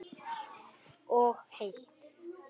Og heitt.